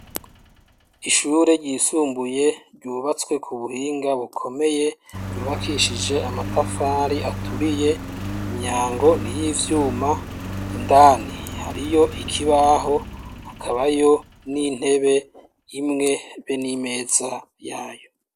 ishure ryisumbuye ryubatswe ku buhinga bukomeye yubakishije amatafari aturiye imyango ni y'ivyuma indani hariyo ikibaho hakabayo n'intebe imwe be n'imeza yayo